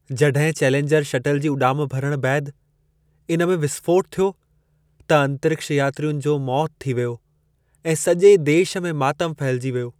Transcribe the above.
जड॒हिं Challenger shuttle जी उॾाम भरण बैदि इन में विस्फ़ोटु थियो, त अंतरिक्ष यात्रियुनि जी मौति थी वेई ऐं सॼे देश में मातम फहिलिजी वियो।